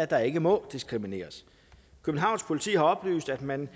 at der ikke må diskrimineres københavns politi har oplyst at man